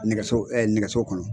Nɛgɛso nɛgɛso kɔnɔ